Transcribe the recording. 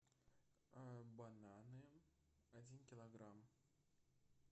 бананы один килограмм